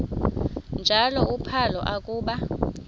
njalo uphalo akuba